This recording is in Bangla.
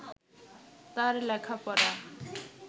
তাঁর লেখাপড়া